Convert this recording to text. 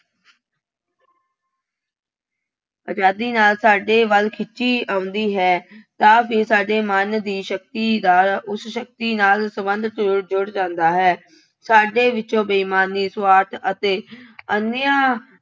ਆਜ਼ਾਦੀ ਨਾਲ ਸਾਡੇ ਵੱਲ ਖਿੱਚੀ ਆਉਂਦੀ ਹੈ ਤਾਂ ਫਿਰ ਸਾਡੇ ਮਨ ਦੀ ਸ਼ਕਤੀ ਦਾ ਉਸ ਸ਼ਕਤੀ ਨਾਲ ਸੰਬੰਧ ਜੁੜ ਜੁੜ ਜਾਂਦਾ ਹੈ। ਸਾਡੇ ਵਿੱਚੋਂ ਬੇਈਮਾਨੀ, ਸੁਆਰਥ ਅਤੇ ਅਨਿਆਂ